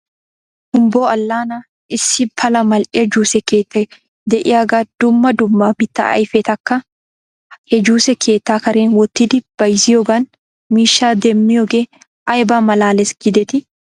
Humbbo alaana issi pala mal'iyaa juuse keettay de'iyaagee dumma dumma mittaa ahfetakka he juuse keetta karen wottidi bayzziyoogan miishshaa demmiyoogee ayba malaales giidetii?